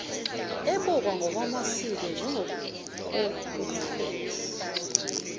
ebukwa ngokwamasiko njengokobuphofu